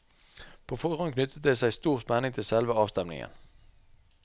På forhånd knyttet det seg stor spenning til selve avstemningen.